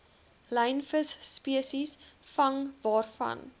lynvisspesies vang waarvan